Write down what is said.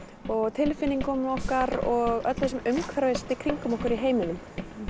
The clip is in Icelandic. og tilfinningunum okkar og öllu sem umhverfist kringum okkur í heiminum